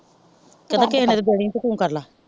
ਕਰਦਾ ਕੇ ਜੇ ਹਨੀ ਗੱਲ ਆ ਤੇ ਤੂੰ ਕਾਰਲਾ।